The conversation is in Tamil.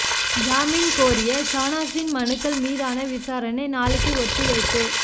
ஜாமீன் கோரிய ஷானாஸின் மனுக்கள் மீதான விசாரணை நாளைக்கு ஒத்திவைப்பு